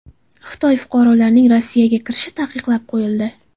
Xitoy fuqarolarining Rossiyaga kirishi taqiqlab qo‘yildi.